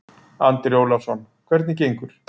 Andri Ólafsson: Hvernig gengur?